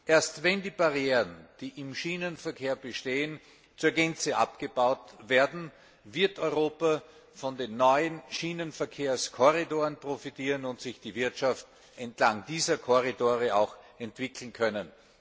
Erst wenn die Barrieren, die im Schienenverkehr bestehen, zur Gänze abgebaut werden, wird Europa von den neuen Schienenverkehrskorridoren profitieren und sich die Wirtschaft entlang dieser Korridore auch entwickeln können.